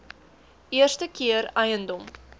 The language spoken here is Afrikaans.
eerste keer eiendom